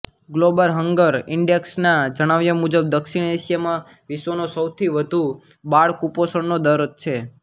global hunger ઇન્ડેક્સના જણાવ્યા મુજબ દક્ષિણ એશિયામાં વિશ્વનો સૌથી વધુ બાળકુપોષણનો દર છે